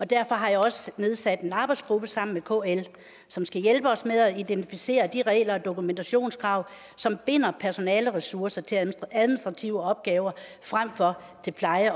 og derfor har jeg også nedsat en arbejdsgruppe sammen med kl som skal hjælpe os med at identificere de regler og dokumentationskrav som binder personaleressourcer til administrative opgaver frem for til pleje